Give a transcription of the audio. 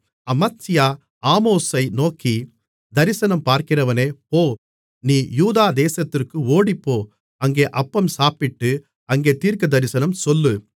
அமத்சியா ஆமோஸை நோக்கி தரிசனம் பார்க்கிறவனே போ நீ யூதா தேசத்திற்கு ஓடிப்போ அங்கே அப்பம் சாப்பிட்டு அங்கே தீர்க்கதரிசனம் சொல்லு